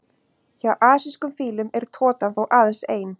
Hjá asískum fílum er totan þó aðeins ein.